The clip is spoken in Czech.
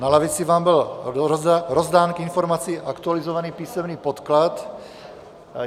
Na lavici vám byl rozdán k informaci aktualizovaný písemný podklad.